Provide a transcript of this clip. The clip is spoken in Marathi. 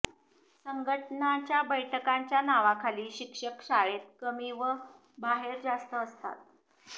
संघटनांच्या बैठकांच्या नावाखाली शिक्षक शाळेत कमी व बाहेर जास्त असतात